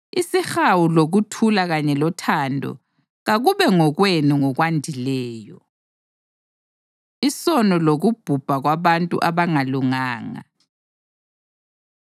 Isihawu, lokuthula kanye lothando kakube ngokwenu ngokwandileyo. Isono Lokubhubha Kwabantu Abangalunganga